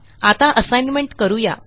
आता असाइनमेंट करू या